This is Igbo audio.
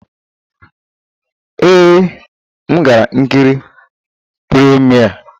Ee, m gara nkiri premiere.